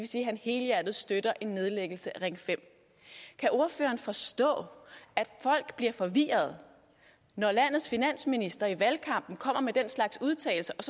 sige at han helhjertet støtter en nedlæggelse af ring femte kan ordføreren forstå at folk bliver forvirrede når landets finansminister i valgkampen kommer med den slags udtalelser og